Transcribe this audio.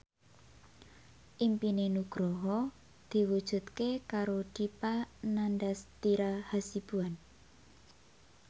impine Nugroho diwujudke karo Dipa Nandastyra Hasibuan